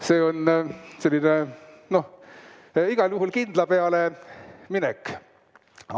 See on selline, noh, igal juhul kindla peale minek.